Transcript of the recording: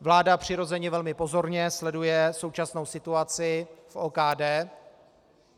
Vláda přirozeně velmi pozorně sleduje současnou situaci v OKD.